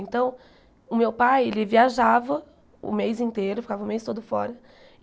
Então, o meu pai, ele viajava o mês inteiro, ficava o mês todo fora.